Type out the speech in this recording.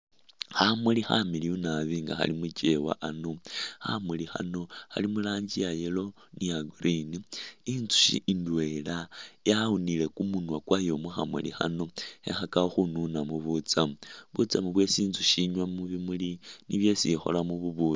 Khamuli khamiliyu nabbi nga khali mukyewa, khamuli khano khali muranji iya yellow ni iya green, inzushi indwela yawunile kumunwa kwayo mukhamuli khano khekhakakho khununamu butsamu, butsamu bwesi inzushi inywa mubimuli nibwo isi ikholamu bubukhi